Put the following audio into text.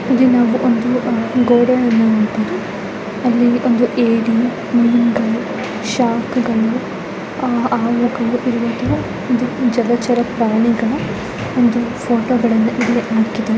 ಇಲ್ಲಿ ನಾವು ಒಂದು ಅ ಗೋಡೆಯನ್ನು ನೋಡಬೋದು ಅಲ್ಲಿ ಒಂದು ಏಡಿ ಮೀನ್ಗಳು ಶಾರ್ಕ್ ಗಳು ಆ ಅವುಗಳು ಇರುವಂತ ಒಂದು ಜಲಚರ ಪ್ರಾಣಿಗಳ ಒಂದು ಫೋಟೋಗಳನ್ನ ಇಲ್ಲಿ ಹಾಕಿದ್ದಾರೆ .